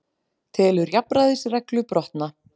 Telur jafnræðisreglu brotna